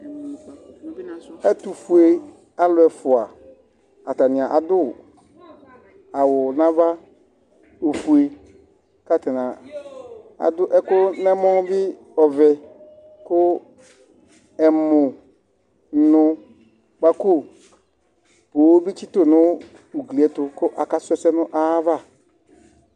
Ɛtʋfʋe alu ɛfʋa atani adu awu nʋ ava ɔfʋe kʋ atani adu ɛku nʋ ɛmɔ bi ɔvɛ kʋ ɛmʋnʋkpako bi tsitsu nʋ ugli ye ɛtu kʋ akasu ɛsɛ nʋ ayʋ ava